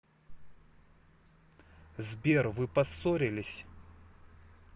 сбер вы поссорились